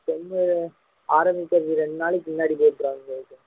ten ஆரம்பிக்கிறதுக்கு ரெண்டு நாளைக்கு முன்னாடியே போட்டுருவாங்க விவேக்